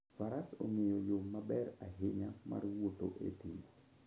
Faras ong'eyo yo maber ahinya mar wuotho e thim.